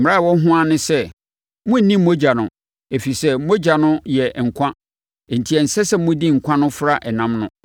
Mmara a ɛwɔ ho ara ne sɛ, monnni mogya no, ɛfiri sɛ, mogya no yɛ nkwa enti ɛnsɛ sɛ modi nkwa no fra ɛnam no.